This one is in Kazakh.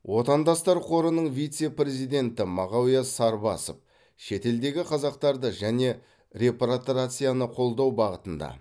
отандастар қорының вице президенті мағауия сарбасов шетелдегі қазақтарды және репатриацияны қолдау бағытында